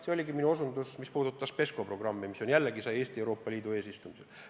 Seda ma PESCO programmile viidates silmas pidasingi, see oli jälle Eesti Euroopa Liidu eesistumisel.